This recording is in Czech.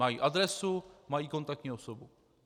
Mají adresu, mají kontaktní osobu.